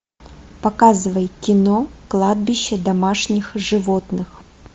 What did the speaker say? показывай кино кладбище домашних животных